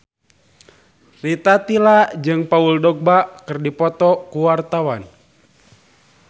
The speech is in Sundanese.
Rita Tila jeung Paul Dogba keur dipoto ku wartawan